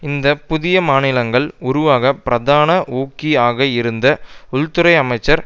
இந்த புதிய மாநிலங்கள் உருவாக பிரதான ஊக்கி ஆக இருந்த உள்துறை அமைச்சர்